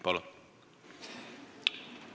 Palun!